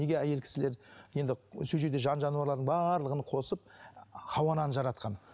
неге әйел кісілер енді сол жерде жан жануарлардың барлығын қосып хауа ананы жаратқан